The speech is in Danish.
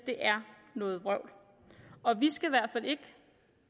er noget vrøvl og vi skal i hvert fald ikke